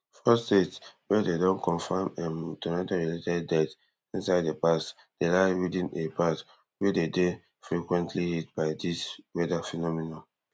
four states wia dem don confam um tornado related deaths inside di past day lie within a path wey dey dey frequently hit by dis weather phenomenon